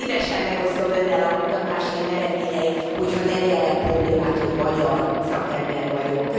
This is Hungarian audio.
Szívesen megosztom Önnel a kutatásaim eredményeit, hogy ha nem jelent problémát, hogy magyar szakember vagyok.